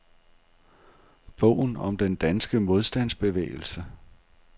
Bogen om den danske modstandsbevægelse.